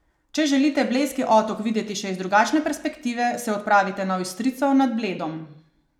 Če želite Blejski otok videti še iz drugačne perspektive, se odpravite na Ojstrico nad Bledom.